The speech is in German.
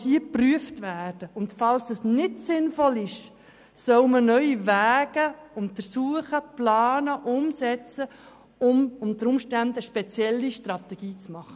Falls es nicht sinnvoll ist, sollen neue Wege gesucht werden, um unter Umständen eine neue Strategie zu finden.